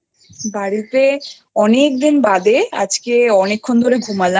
বাড়িতে অনেকদিন বাদে আজকে অনেকক্ষন ধরে ঘুমালাম।